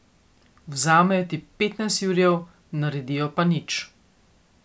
Vzamejo ti petnajst jurjev, naredijo pa nič.